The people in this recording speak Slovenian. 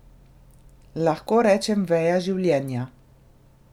Lahko rečem veja življenja.